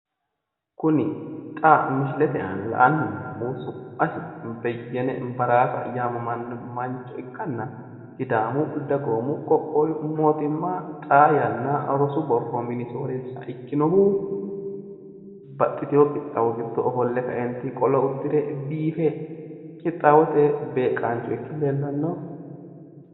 kuni xa misilete aana la'nanni noommohu su'masi beyyene baraasa yaamammannoha mancho ikkanna sidaamu dagoomu qoqqowu mootimma xaa yanna rosu borro mine soorreessa ikkinohu baxxiteewo qixxawo giddo ofolle ka'eenti qolo uddire biife qixxaawote beeqqancho ikke leellanno.